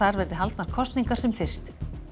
verði haldnar kosningar sem fyrst